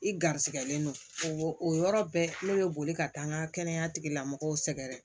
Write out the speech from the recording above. I garisigɛlen don o yɔrɔ bɛɛ ne bɛ boli ka taa n ka kɛnɛya tigilamɔgɔw sɛgɛrɛ